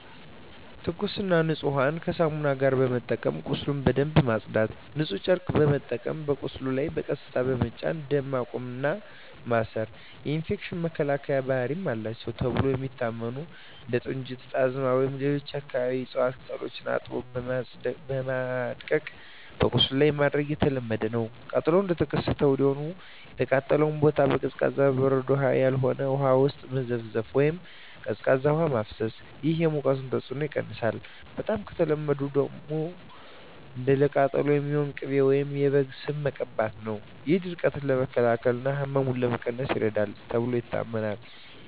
ትኩስና ንጹህ ውሃን ከሳሙና ጋር በመጠቀም ቁስሉን በደንብ ማጽዳት። ንጹህ ጨርቅ በመጠቀም በቁስሉ ላይ በቀስታ በመጫን ደም ማቆም እና ማሰር። የኢንፌክሽን መከላከያ ባህሪ አላቸው ተብለው የሚታሰቡ እንደ ጥንጁት፣ ጣዝማ ወይም ሌሎች የአካባቢው እፅዋት ቅጠሎችን አጥቦ በማድቀቅ በቁስሉ ላይ ማድረግ የተለመደ ነው። ቃጠሎው እንደተከሰተ ወዲያውኑ የተቃጠለውን ቦታ በቀዝቃዛ (በበረዶ ያልሆነ) ውሃ ውስጥ መዘፍዘፍ ወይም ቀዝቃዛ ውሃ ማፍሰስ። ይህ የሙቀቱን ተጽዕኖ ይቀንሳል። በጣም ከተለመዱት አንዱ ለቃጠሎ የሚሆን ቅቤ ወይም የበግ ስብ መቀባት ነው። ይህ ድርቀትን ለመከላከል እና ህመምን ለመቀነስ ይረዳል ተብሎ ይታመናል።